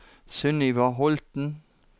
Sunniva Holten